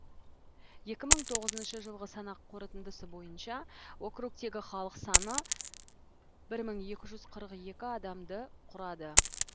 екі мың тоғызыншы жылғы санақ қорытындысы бойынша округтегі халық саны бір мың екі жүз қырық екі адамды құрады